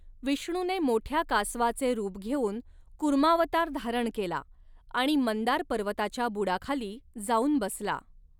विष्णूने मोठ्या कासवाचे रूप घेऊन कूर्मावतार धारण केला आणि मंदार पर्वताच्या बुडाखाली जाऊन बसला.